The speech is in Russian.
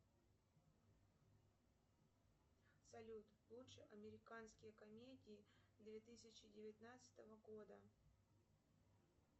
салют лучшие американские комедии две тысячи девятнадцатого года